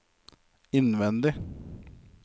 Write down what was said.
innvendig